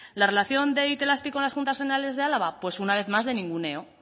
la relación de itelazpi con las juntas generales de álava pues una vez más de ninguneo